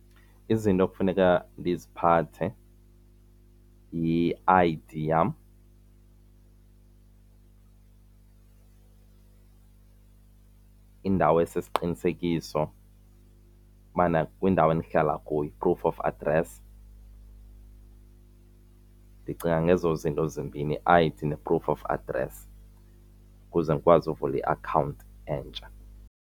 Izinto ekufuneka ndiziphathe yi-I_D yam indawo esisiqinisekiso movie kwindawo endihlala kuyo i-proof of address. Ndicinga ngezo zinto zimbini i-I_D ne-proof of address ukuze ndikwazi uvula iakhawunti entsha.